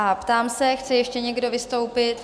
A ptám se, chce ještě někdo vystoupit?